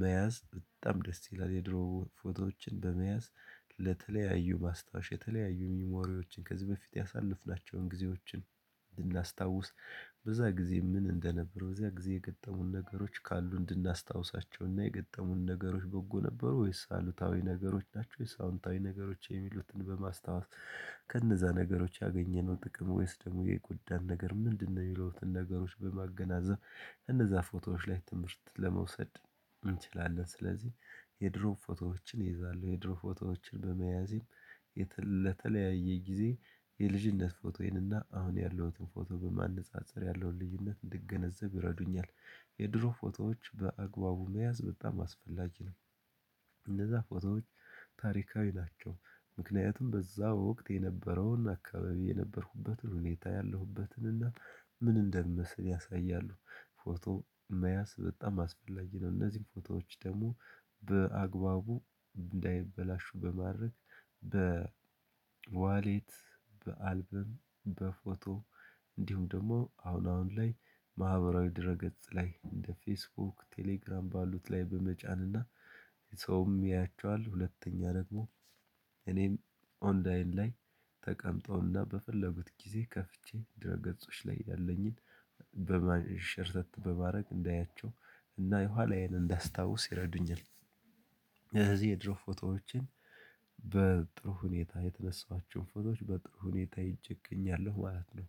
መያዝ በጣም ደስ ይላል። የድሮ ፎቶዎችን በመያዝ ለተለያዩ ማስታወሻ የተለያዩ ሚሞሪዎችን ከዚህ በፊት ያሳለፍናቸውን ጊዜዎችን ልናስታውስ በዛ ጊዜ ምን እንደነበረ በዚያ ጊዜ የገጠሙን ነገሮች ካሉ እንድናስታውሳቸውና የገጠሙን ነገሮች በጎ ነበሩ ወይስ አሉታዊ ነገሮች ናቸው ወይስ አዎንታዊ ነገሮች የሚሉትን በማስታወስ ከነዛ ነገሮች ያገኘነው ጥቅም ወይስ ደግሞ የጉዳይ ነገር ምንድነው? የሚሉትን ነገሮች በማገናዘብ እነዛ ፎቶዎች ላይ ትምህርት ለመውሰድ እንችላለን። ስለዚህ የድሮ ፎቶዎችን እይዛለሁ። የድሮ ፎቶዎችን በመያዜም ለተለያየ ጊዜ የልጅነት ፎቶዬንና አሁን ያለሁትን ፎቶ በማነፃፀር ያለውን ልዩነት እንድገነዘብ ይረዱኛል። የድሮ ፎቶዎች በአግባቡ መያዝ በጣም አስፈላጊ ነው። እነዛ ፎቶዎች ታሪካዊ ናቸው። ምክንያቱም በዛ ወቅት የነበረውን አካባቢ የነበርኩበትን ሁኔታ ያለሁበትን እና ምን እንደምሰል ያሳያሉ። ፎቶ መያዝ በጣም አስፈላጊ ነው። እነዚህ ፎቶዎች ደግሞ በአግባቡ እንዳይበላሹ በማረግ በዋሌት በአልበም በፎቶ እንዲሁም ደግሞ አሁን አሁን ላይ ማህበራዊ ድረ ገጽ ላይ እንደ ፌስቡክ ቴሌግራም ባሉት ላይ በመጫን እና ሰውም ያያቸዋል። ሁለተኛ ደግሞ እኔም ኦንላይን ላይ ተቀምጠውና በፈለኩት ጊዜ ከፍቼ ድረ ገጾች ላይ ያለኝን በማን ሸርተት በማድረግ እንዳያቸው እና የኋላዬን እንዳስታውስ ይረዱኛል። ስለዚህ የድሮ ፎቶዎችን በጥሩ ሁኔታ የተነሳኋቸውን ፎቶዎች በጥሩ ሁኔታ ይዤ እገኛለሁ ማለት ነው።